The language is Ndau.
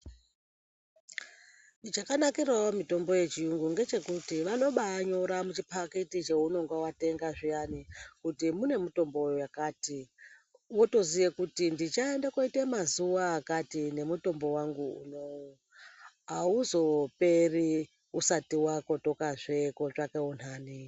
Chakanakiravo mitombo yechiyungu ngechekuti vanobanyora muchipakititi chounonga vatenga zviyani kuti mune mitombo yakati. Votoziye kuti ndichaenda koita mazuva akati nemutombo vangu unovu. hauzoperi usati vakotokazve kotsvake unhani.